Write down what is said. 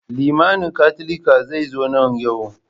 Limamin Katolika zai zo nan yau.